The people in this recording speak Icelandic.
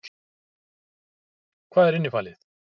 Hvað er innifalið?